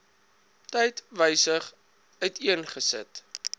tyd gewysig uiteengesit